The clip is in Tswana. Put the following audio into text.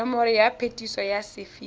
nomoro ya phetiso ya sephiri